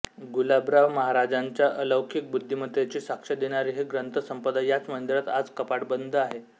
गुलाबराव महाराजांच्या अलौकिक बुद्धिमत्तेची साक्ष देणारी ही ग्रंथसंपदा याच मंदिरात आज कपाटबंद आहे